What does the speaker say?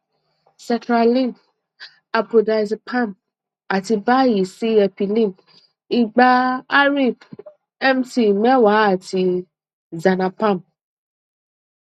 setraline apodiazepam ati bayi si epilim igba arip mt meewa ati xanapam